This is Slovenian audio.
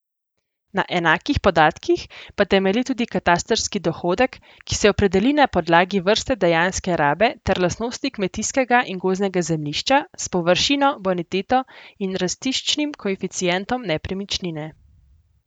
Na enakih podatkih pa temelji tudi katastrski dohodek, ki se opredeli na podlagi vrste dejanske rabe ter lastnostih kmetijskega in gozdnega zemljišča s površino, boniteto in rastiščnim koeficientom nepremičnine.